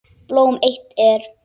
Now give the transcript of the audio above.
Blóm eitt er.